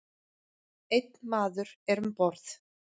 Einn maður er um borð.